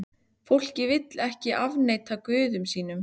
Fólkið vill ekki afneita guðum sínum.